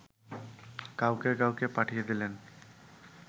কাউকে কাউকে পাঠিয়ে দিলেন